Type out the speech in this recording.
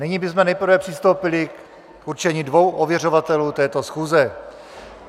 Nyní bychom nejprve přistoupili k určení dvou ověřovatelů této schůze.